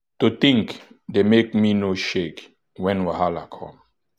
to think dey make me no shake when wahala come.